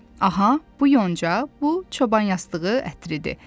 Aha, bu yonca, bu çoban yastığı ətridir.